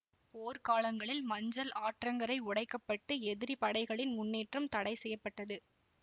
போர்காலங்களில் மஞ்சள் ஆற்றங்கரை உடைக்கப்பட்டு எதிரி படைகளின் முன்னேற்றம் தடைசெய்யப்பட்டது